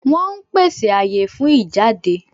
Wọ́n ón pèsè àyè fún ìjáde